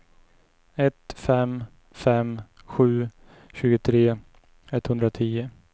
ett fem fem sju tjugotre etthundratio